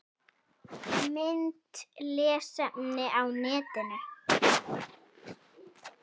Mynd og lesefni á netinu